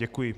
Děkuji.